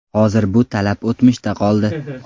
Hozir bu talab o‘tmishda qoldi”.